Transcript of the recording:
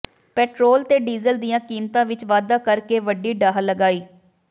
petrol ਤੇ diesel ਦੀਆਂ ਕੀਮਤਾਂ ਵਿਚ ਵਾਧਾ ਕਰਕੇ ਵੱਡੀ ਢਾਹ ਲਗਾਈ